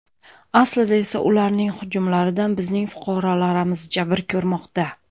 Aslida esa ularning hujumlaridan bizning fuqarolarimiz jabr ko‘rmoqda.